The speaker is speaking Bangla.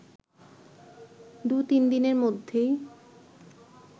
দু-তিনদিনের মধ্যেই